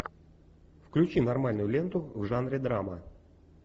включи нормальную ленту в жанре драма